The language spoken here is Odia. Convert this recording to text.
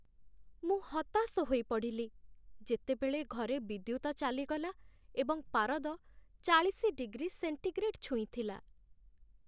ମୁଁ ହତାଶ ହୋଇପଡ଼ିଲି, ଯେତେବେଳେ ଘରେ ବିଦ୍ୟୁତ ଚାଲିଗଲା ଏବଂ ପାରଦ ଚାଳିଶି ଡିଗ୍ରୀ ସେଣ୍ଟିଗ୍ରେଡ୍ ଛୁଇଁଥିଲା ।